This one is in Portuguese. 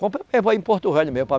Compra mesmo aí em Porto Velho mesmo.